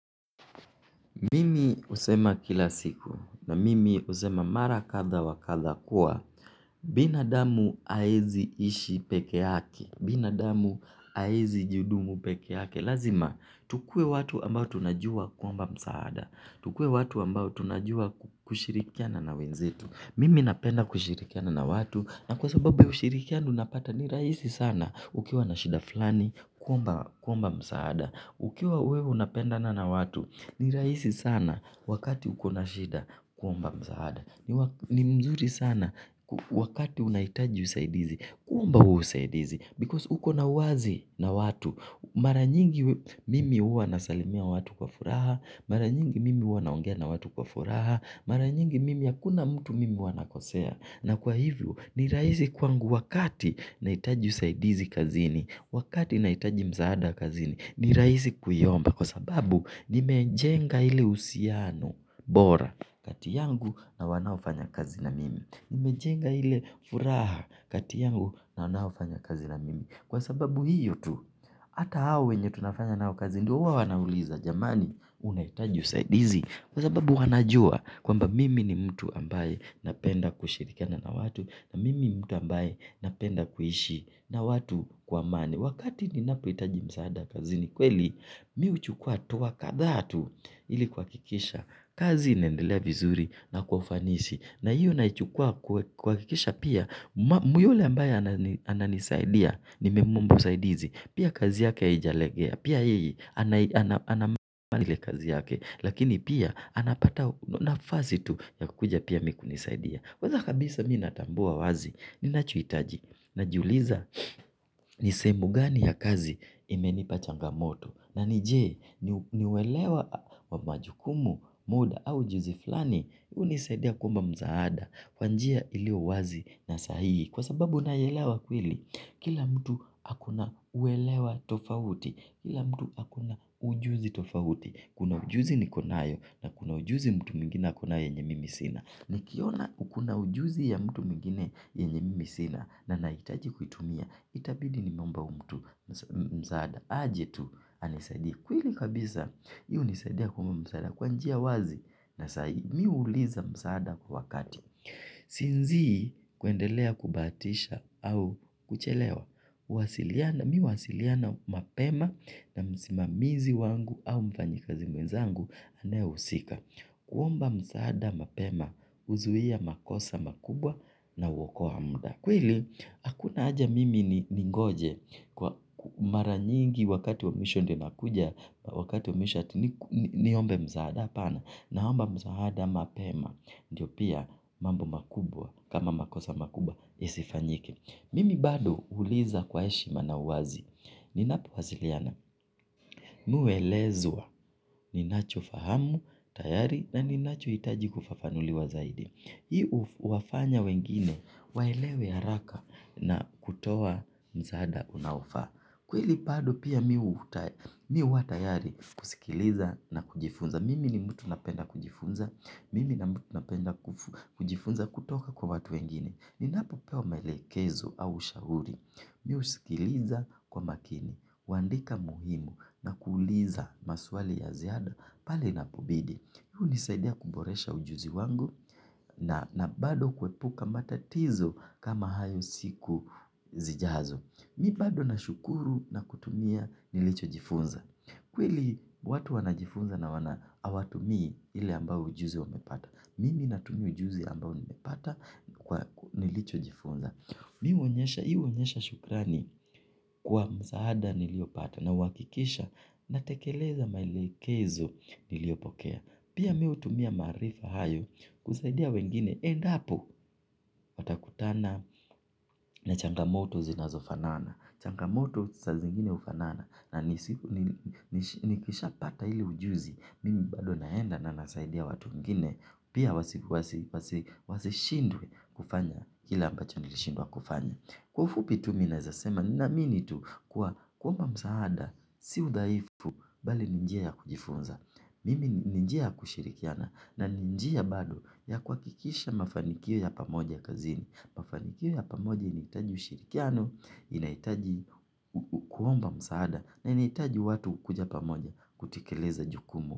Mimi husema kila siku na mimi husema mara kadha wa kadha kuwa binadamu haezi ishi peke yake. Binadamu haezi jihudumu peke yake lazima tukuwe watu ambao tunajua kuomba msaada tukuwe watu ambao tunajua kushirikiana na wenzetu. Mimi napenda kushirikiana na watu. Na kwa sababu ya ushirikiano unapata ni rahisi sana ukiwa na shida fulani kuomba msaada ukiwa wewe unapenda na watu. Ni rahisi sana wakati uko na shida kuomba msaada. Ni mzuri sana wakati unahitaji usaidizi. Kuomba huo usaidizi because uko na uwazi na watu. Mara nyingi mimi huwa nasalimia watu kwa furaha mara nyingi mimi huwa naongea na watu kwa furaha. Mara nyingi mimi hakuna mtu mimi huwa nakosea. Na kwa hivyo ni rahisi kwangu wakati nahitaji usaidizi kazini. Wakati nahitaji msaada kazini ni rahisi kuiomba. Kwa sababu nimejenga ile uhusiano bora kati yangu na wanaofanya kazi na mimi. Nimejenga ile furaha kati yangu na wanaofanya kazi na mimi. Kwa sababu hiyo tu, hata hao wenye tunafanya nao kazi ndio huwa wanauliza jamani unahitaji usaidizi. Kwa sababu wanajua kwamba mimi ni mtu ambaye napenda kushirikiana na watu na mimi mtu ambaye napenda kuishi na watu kwa amani. Wakati ninapohitaji msaada kazini kweli. Mi huchukua hatua kadha tu ili kuhakikisha kazi inaendelea vizuri na kwa ufanisi. Na hiyo naichukua kuhakikisha pia mambo yule ambaye ananisaidia. Nimemwomba usaidizi. Pia kazi yake haijalegea. Pia yeye anamaliza kazi yake. Lakini pia anapata nafasi tu ya kuja pia mi kunisaidia. Kwanza kabisa mi natambua wazi. Ninachohitaji. Najiuliza ni sehemu gani ya kazi imenipa changamoto. Na ni je ni uelewa wa majukumu, muda au ujuzi fulani hunisaidia kuomba msaada kwa njia iliyo wazi na sahihi. Kwa sababu nayaelewa kweli. Kila mtu ako na uelewa tofauti. Kila mtu ako na ujuzi tofauti. Kuna ujuzi niko nayo na kuna ujuzi mtu mwingine ako nayo yenye mimi sina. Nikiona uko na ujuzi ya mtu mwingine yenye mimi sina. Na nahitaji kuitumia. Itabidi nimeomba huyu mtu msaada. Aje tu anisaidie kweli kabisa hii hunisaidia kuomba msaada. Kwa njia wazi. Na sahi mi huuliza msaada kwa kati. Sinzii kuendelea kubahatisha au kuchelewa huwasiliana. Mi huwasiliana mapema na msimamizi wangu au mfanyikazi mwezangu anayehusika. Kuomba msaada mapema huzuia makosa makubwa. Na huokoa muda kweli, hakuna haja mimi ningoje kwa mara nyingi wakati wa mwisho ndio nakuja, wakati wa mwisho ati ni niombe msaada hapana, naomba msaada mapema, ndio pia mambo makubwa, kama makosa makubwa, yasifanyike. Mimi bado huuliza kwa heshima na uwazi, ninapowasiliana, mi huelezwa, ninachofahamu, tayari na ninachohitaji kufafanuliwa zaidi. Hii huwafanya wengine, waelewe haraka na kutoa msaada unaofaa. Kweli bado pia mi huwa tayari kusikiliza na kujifunza. Mimi ni mtu napenda kujifunza, mimi na mtu napenda kujifunza kutoka kwa watu wengine. Ninapopewa maelekezo au ushauri. Mi husikiliza kwa makini, huandika muhimu na kuuliza maswali ya ziada pale inapobidi. Hii hunisaidia kuboresha ujuzi wangu na na bado kuepuka matatizo kama hayo siku zijazo. Mi bado nashukuru na kutumia nilichojifunza. Kweli watu wanajifunza na wana hawatumii ile ambao ujuzi wamepata. Mimi natumia ujuzi ambao nimepata kwa nilichojifunza. Mi huonyesha, hii huonyesha shukrani kwa msaada niliopata na huhakikisha na tekeleza maelekezo niliopokea. Pia mi hutumia maarifa hayo kusaidia wengine endapo watakutana na changamoto zinazofanana. Changamoto saa zingine hufanana na nikishapata ile ujuzi mimi bado naenda na nasaidia watu wengine pia wasi wasishindwe kufanya kila ambacho nilishindwa kufanya. Kwa ufupi tu mi naeza sema naamini tu kuwa kuomba msaada, si udhaifu, bali ni njia ya kujifunza, mimi ni njia ya kushirikiana, na ni njia bado ya kuhakikisha mafanikio ya pamoja kazini, mafanikio ya pamoja inahitaji ushirikiano, inahitaji kuomba msaada, na inahitaji watu kuja pamoja kutekeleza jukumu.